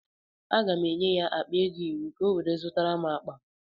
Aga m enye ya akpa ego iri ka ọ wee zụtara m akpa.